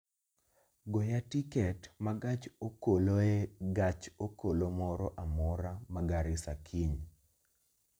goya tiket ma gach okoloe gach okolomoro amora ma garissa kiny